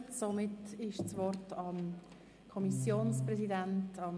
Somit ist das Wort nun beim Kommissionspräsidenten.